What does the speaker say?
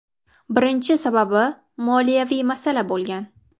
Birinchi sababi moliyaviy masala bo‘lgan.